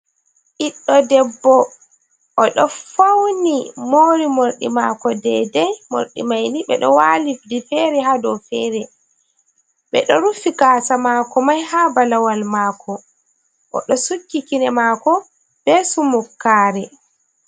Biđđo debbo ođo fauni moori mordi maako dedei, morđi maini đeđo waali đi feere ha dow feere, beđo rufi gaasa maako mai haa balawal maako, ođo sukki kine maako beh sumokaare.